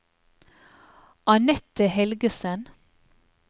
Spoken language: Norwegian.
Annette Helgesen